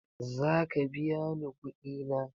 Zaka biya ni kuɗi na?